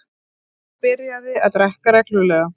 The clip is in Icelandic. Ég byrjaði að drekka reglulega.